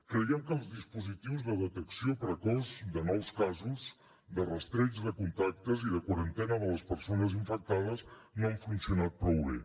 creiem que els dispositius de detecció precoç de nous casos de rastreig de contactes i de quarantena de les persones infectades no han funcionat prou bé